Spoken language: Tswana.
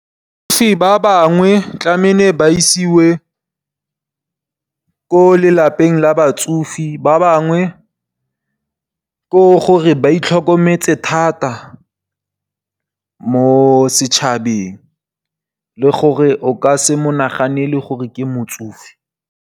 Ba bangwe tlamile ba isiwe ko lelapeng la batsofe, ba bangwe ke gore ba itlhokometse thata mo setšhabeng, le gore o ka se monaganele gore ke motsofe.